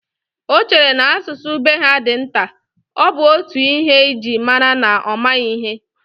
Ọ chere na asụsụ be ha dị nta, ọ bụ otú ihe ji mara na ọ maghị ihe